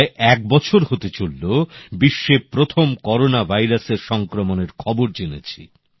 প্রায় এক বছর হতে চললো বিশ্বে প্রথম করোনা ভাইরাসের সংক্রমণের খবর জেনেছি